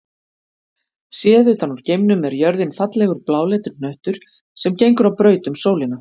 Séð utan úr geimnum er jörðin fallegur bláleitur hnöttur sem gengur á braut um sólina.